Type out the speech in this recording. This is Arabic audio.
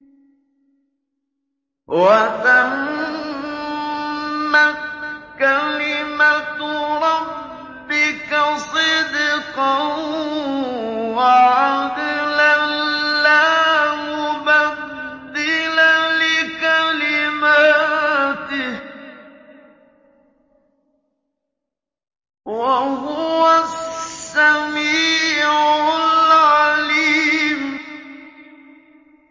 وَتَمَّتْ كَلِمَتُ رَبِّكَ صِدْقًا وَعَدْلًا ۚ لَّا مُبَدِّلَ لِكَلِمَاتِهِ ۚ وَهُوَ السَّمِيعُ الْعَلِيمُ